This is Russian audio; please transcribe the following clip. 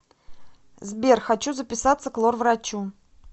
сбер хочу записаться к лор врачу